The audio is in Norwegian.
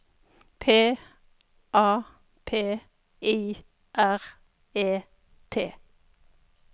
P A P I R E T